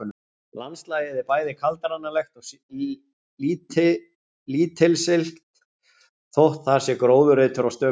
Landslagið er bæði kaldranalegt og lítilsiglt þótt þar sé gróðurreitur á stöku stað.